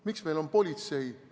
Miks meil on politsei?